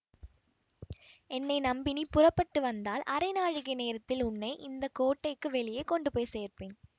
என்னை நம்பி நீ புறப்பட்டு வந்தால் அரை நாழிகை நேரத்தில் உன்னை இந்த கோட்டைக்கு வெளியே கொண்டு போய் சேர்ப்பேன்